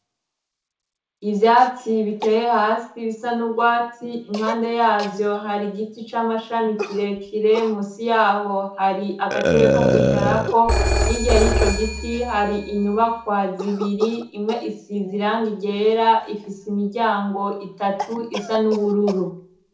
Ivyatsi biteye hasi bisa n'urwatsi, impande yavyo hari giti c'amashami kirekire ,musi yaho hari agatebe ko kwicarako yirya y'ico giti hari inyubakwa zibiri imwe isiz'irangi ryera ifise imiryango itatu isa n'ubururu.